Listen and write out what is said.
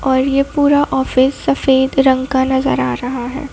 ये पूरा ऑफिस सफेद रंग का नजर आ रहा है।